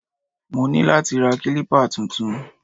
Mo ní láti ra kílípà tuntun